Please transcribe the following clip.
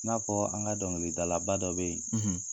I n'a fɔ an ka dɔnkilidalaba dɔ bɛ yen